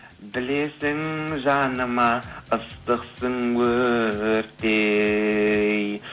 білесің жаныма ыстықсың өрттей